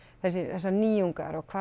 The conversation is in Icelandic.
þessar nýjungar og